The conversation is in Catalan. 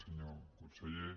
senyor conseller